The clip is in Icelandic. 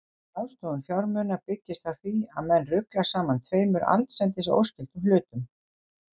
Slík ráðstöfun fjármuna byggist á því að menn rugla saman tveimur allsendis óskyldum hlutum.